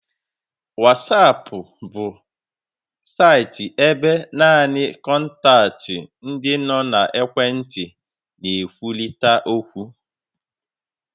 Whatsapp bu saịtị ebe naanị kọntaktị ndị nọ n'ekwentị na-ekwurịta okwu.